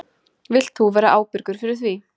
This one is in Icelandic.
Vilt þú vera ábyrgur fyrir því?